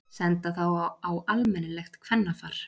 Senda þá á almennilegt kvennafar.